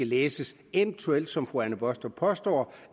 læses som fru anne baastrup påstår